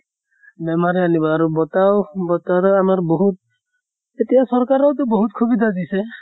বেমাৰে আনিব আৰু বতাহো বতৰো আমাৰ বহুত এতিয়া চকৰাকেও তো বহুত সুবিধা দিছে